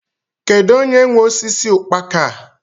Kedụ onye nwe osisi ukpaka a?